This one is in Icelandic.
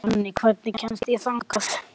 Jonni, hvernig kemst ég þangað?